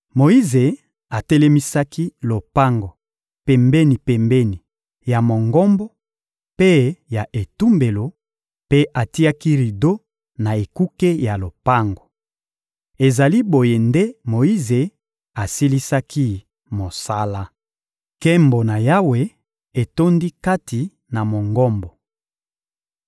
Moyize atelemisaki lopango pembeni-pembeni ya Mongombo mpe ya etumbelo, mpe atiaki rido na ekuke ya lopango. Ezali boye nde Moyize asilisaki mosala. Nkembo na Yawe etondi kati na Mongombo